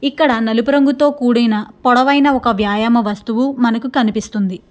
ఇక్కడ నలుపు రంగుతో కూడిన పొడవైన వ్యాయామ వస్తువు మనకు కనిపిస్తుంది.